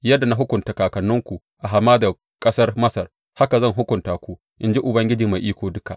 Yadda na hukunta kakanninku a hamadar ƙasar Masar, haka zan hukunta ku, in ji Ubangiji Mai Iko Duka.